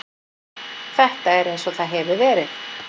Þetta er eins og það hefur verið.